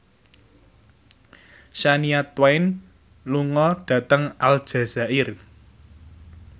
Shania Twain lunga dhateng Aljazair